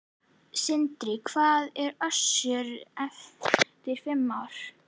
Sindri: Hvar verður Össur eftir fimm ár?